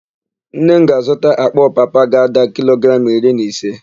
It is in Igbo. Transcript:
Nne m ga-azụta àkpà ọpapa ga-ada kilogramụ iri na ise.